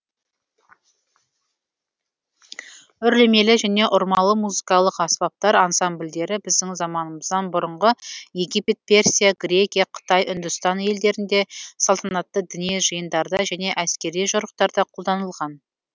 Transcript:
үрлемелі және ұрмалы музыкалық аспаптар ансамбльдері біздің заманымыздан бұрынғы египет персия грекия қытай үндістан елдерінде салтанатты діни жиындарда және әскери жорықтарда қолданылған